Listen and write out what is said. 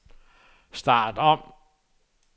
start om